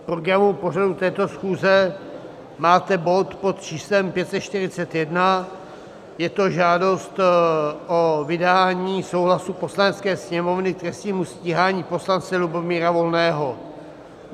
V programu pořadu této schůze máte bod pod číslem 541, je to žádost o vydání souhlasu Poslanecké sněmovny k trestnímu stíhání poslance Lubomíra Volného.